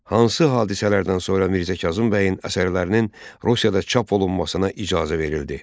Hansı hadisələrdən sonra Mirzə Kazım bəyin əsərlərinin Rusiyada çap olunmasına icazə verildi?